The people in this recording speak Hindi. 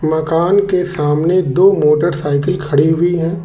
मकान के सामने दो मोटरसाइकिल खड़ी हुई हैं।